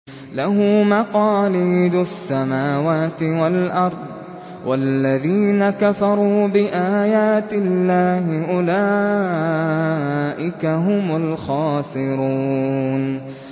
لَّهُ مَقَالِيدُ السَّمَاوَاتِ وَالْأَرْضِ ۗ وَالَّذِينَ كَفَرُوا بِآيَاتِ اللَّهِ أُولَٰئِكَ هُمُ الْخَاسِرُونَ